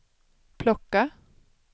plocka